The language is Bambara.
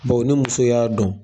ni muso y'a dɔn